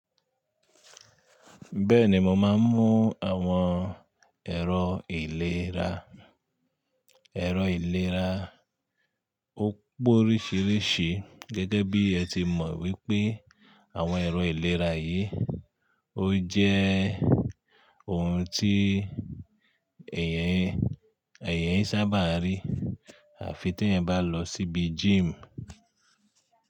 Bẹ́ẹ̀ni mo máa ń mú àwọn ẹ̀rọ ìlera. Ẹ̀rọ ìlera ó póríṣiríṣi gẹ́gẹ́ bí ẹ ti mọ̀ wípé àwọn ẹ̀rọ ìlera yìí ó jẹ́ ohun tí èèyàn sábà rí àfi tí ẹ́eyan bá lọ síbi gym.